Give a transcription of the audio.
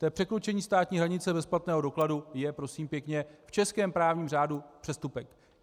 To překročení státní hranice bez platného dokladu je, prosím pěkně, v českém právním řádu přestupek.